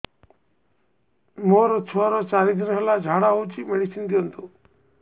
ମୋର ଛୁଆର ଚାରି ଦିନ ହେଲା ଝାଡା ହଉଚି ମେଡିସିନ ଦିଅନ୍ତୁ